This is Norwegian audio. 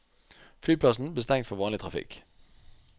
Flyplassen ble stengt for vanlig trafikk.